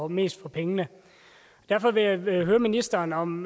mest for pengene derfor vil jeg høre ministeren om